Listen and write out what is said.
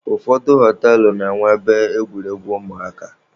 Ụfọdụ họtelụ na-enwe ebe egwuregwu ụmụaka.